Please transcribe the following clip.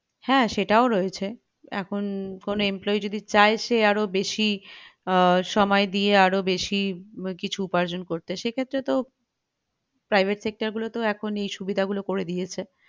হ্যাঁ সেটাও রয়েছে এখন কোনো employee যদি চায় সে আরো বেশী আহ সময় দিয়ে আরো বেশী কিছু উপার্জন করতে সেক্ষেত্রে তেও private sector গুলো তেও এই সুবিধা গুলো করে দিয়েছে